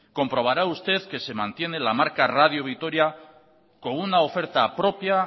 comprobará usted que se mantiene la marca radio vitoria con una oferta propia